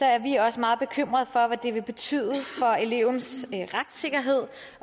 er er vi også meget bekymrede for hvad det vil betyde for elevens retssikkerhed